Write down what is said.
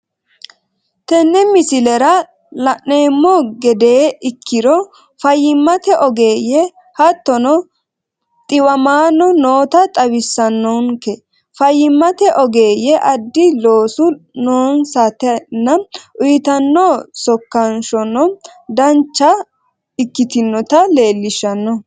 Tenne misileraa lannemo gedee ekkiro fayyimate ogeyye hattono xiwammano noota xawissanonnike fayimmate ogeyyeno addi loosu noonisatanaa uyittaninno sokanshonno danchcha ekitnoota lelishanno